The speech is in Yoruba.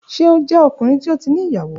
Ṣe o jẹ ọkunrin ti o ti ni iyawo?